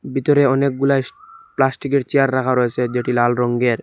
বিতরে অনেকগুলা প্লাস্টিকের চেয়ার রাখা রয়েছে যেটি লাল রঙের।